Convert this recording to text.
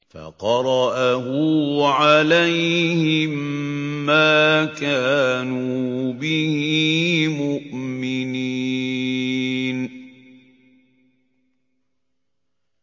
فَقَرَأَهُ عَلَيْهِم مَّا كَانُوا بِهِ مُؤْمِنِينَ